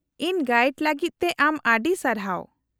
-ᱤᱧ ᱜᱟᱭᱤᱰ ᱞᱟᱹᱜᱤᱫ ᱛᱮ ᱟᱢ ᱟᱹᱰᱤ ᱥᱟᱨᱦᱟᱣ ᱾